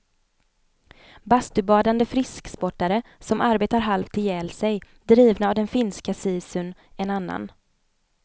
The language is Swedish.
Bastubadande frisksportare, som arbetar halvt ihjäl sig, drivna av den finska sisun, en annan.